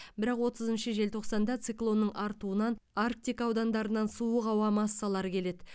бірақ отызыншы желтоқсанда циклонның артуынан арктика аудандарынан суық ауа массалары келеді